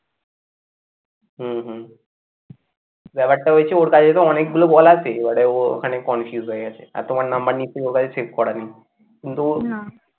হম হম আর একটা হয়েছে ওর কাছে তো অনেকগুলো call আসে, এবার ও ওখানে confuse হয়ে গেছে আর তোমার number নিশ্চই ওর কাছে save করা নেই